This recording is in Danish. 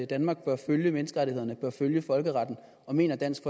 danmark bør følge menneskerettighederne og bør følge folkeretten og mener dansk